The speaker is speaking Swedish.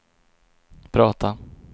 prata